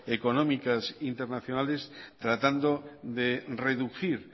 económicas internacionales tratando de reducir